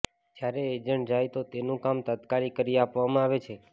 જ્યારે એજન્ટ જાય તો તેનું કામ તાત્કાલીક કરી આપવામાં આવે છે